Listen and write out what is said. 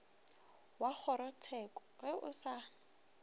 wa kgorotsheko ge o sa